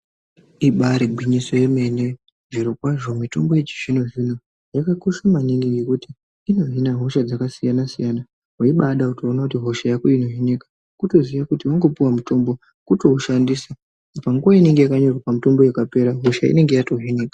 Ibaari gwinyoso yemene zvirokwazvo mitombo yechizvino zvino yakakosha maningi ngekuti inohina hosha dzakasiyana siyana weibada kutoona kuti hosha yako inohinika kutoziya kuti panguwa yaunopuwa mutombo wotoushandisa panguwa inonga yakanyorwa pamutombo hosha yako yotohinika.